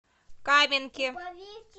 каменке